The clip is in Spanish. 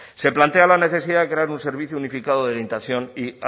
se plantea la necesidad de crear un servicio unificado de orientación y